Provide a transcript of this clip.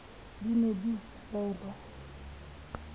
di ne di sa rerwa